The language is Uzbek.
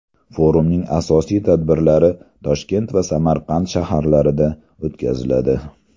Forumning asosiy tadbirlari Toshkent va Samarqand shaharlarida o‘tkaziladi.